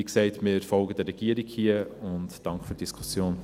Wie gesagt: Wir folgen hier der Regierung und danken für die Diskussion.